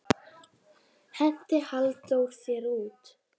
Henti Halldór þér út?